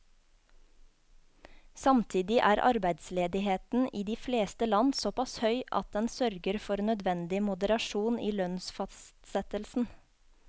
Samtidig er arbeidsledigheten i de fleste land såpass høy at den sørger for nødvendig moderasjon i lønnsfastsettelsen.